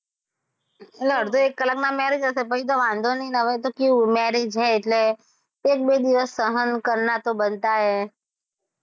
એટલે અડધો એક કલાકમાં marriage હશે પછી તો વાંધો નહી ને હવે તો કેવું marriage છે એટલે એક -બે દિવસ સહન કરના તો બનતાં હે.